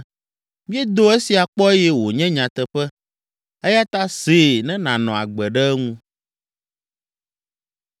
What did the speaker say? “Míedo esia kpɔ eye wònye nyateƒe. Eya ta see ne nànɔ agbe ɖe eŋu.”